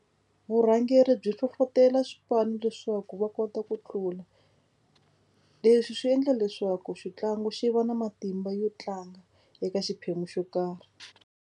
Vurhangeri byi hlohlotelo swipanu leswaku va kota ku tlula. Leswi swi endla leswaku xitlangu xi va na matimba yo tlanga eka xiphemu xo karhi.